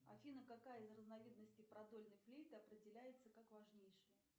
афина какая из разновидностей продольной флейты определяется как важнейшая